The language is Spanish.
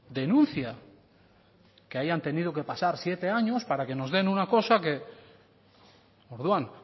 denuncia que hayan tenido que pasar siete años para que nos den una cosa orduan